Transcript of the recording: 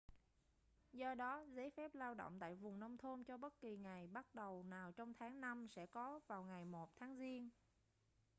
do đó giấy phép lao động tại vùng nông thôn cho bất kỳ ngày bắt đầu nào trong tháng năm sẽ có vào ngày 1 tháng giêng